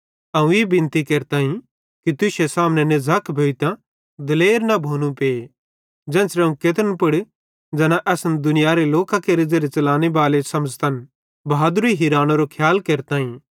अवं ई बिनती केरताईं कि तुश्शे सामने नझ़क भोइतां दिलेर न भोनू पे ज़ेन्च़रे अवं केत्रन पुड़ ज़ैना असन दुनियारे लोकां केरे ज़ेरे च़लने बाले समझ़तन बहदरी हिरानेरी खियाल केरताईं